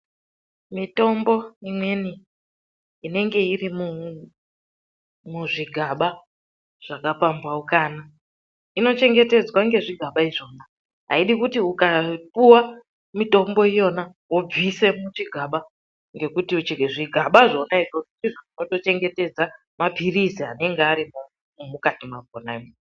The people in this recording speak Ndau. Mitombo imweni inenge irimo muzvigaba zvakapamhaukana inochengetedzwa ngezvigaba izvona. Ayidi ukapiwa mitombo iyona wobvise muchigaba ngekuti zvigaba zvona izvozvo ndizvo zvinotochengetedza maphirizi anenge arimwo mukati mwakhonamwo.